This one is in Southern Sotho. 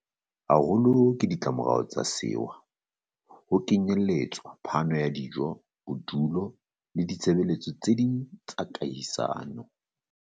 haholo ke ditlamorao tsa sewa, ho kenyeletswa phano ya dijo, bodulo le ditshebe letso tse ding tsa kahisano.